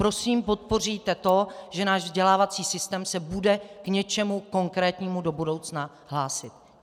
Prosím, podpoříte to, že náš vzdělávací systém se bude k něčemu konkrétnímu do budoucna hlásit.